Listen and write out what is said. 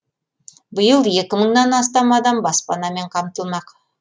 биыл екі мыңнан астам адам баспанамен қамтылмақ